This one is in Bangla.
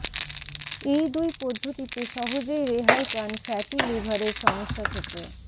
এই দুই পদ্ধতিতে সহজেই রেহাই পান ফ্যাটি লিভারের সমস্যা থেকে